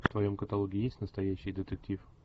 в твоем каталоге есть настоящий детектив